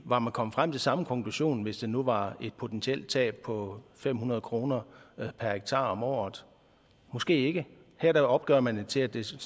var man kommet frem til samme konklusion hvis det nu var et potentielt tab på fem hundrede kroner per hektar om året måske ikke her opgør man det til at det